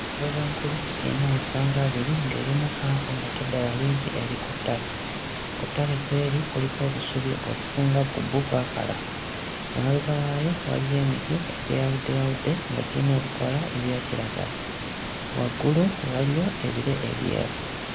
Enjovu enkulu eyina amasanga abiri ng'erimu ppanvu ng'ate eddala limpi eri ku ttale. Ku ttale kw'eri kuliko obusubi ng'obusinga ku bwo bwakala, emabega waayo waliyo emiti egyeyawuddeyawudde nga giyina ebikoola ebya kiragala, waggulu waliyo ebire ebyeru.